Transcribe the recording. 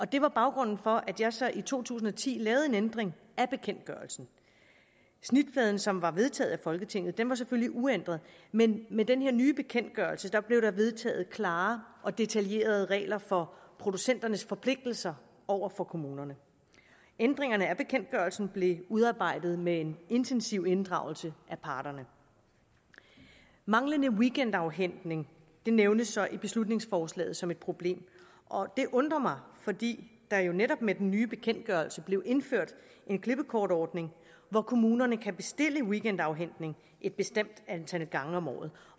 det var baggrunden for at jeg så i to tusind og ti lavede en ændring af bekendtgørelsen snitfladen som var vedtaget af folketinget var selvfølgelig uændret men med den her nye bekendtgørelse blev der vedtaget klare og detaljerede regler for producenternes forpligtelser over for kommunerne ændringerne af bekendtgørelsen blev udarbejdet med en intensiv inddragelse af parterne manglende weekendafhentning nævnes i beslutningsforslaget som et problem og det undrer mig fordi der netop med den nye bekendtgørelse blev indført en klippekortordning hvor kommunerne kan bestille weekendafhentning et bestemt antal gange om året